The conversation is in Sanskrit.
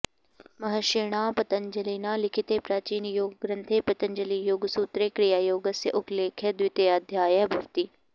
महर्षिणा पतञ्जलिना लिखिते प्राचीनयोगग्रन्थे पतञ्जलियोगसूत्रे क्रियायोगस्य उल्लेखः द्वितीयाध्याये भवति